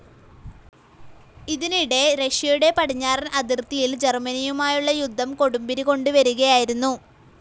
ഇതിനിടെ റഷ്യയുടെ പടിഞ്ഞാറൻ അതിർത്തിയിൽ ജർമ്മനിയുമായുള്ള യുദ്ധം കൊടുമ്പിരികൊണ്ട് വരികയായിരുന്നു.